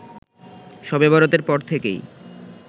‌শবে বরাতের পর থেকেই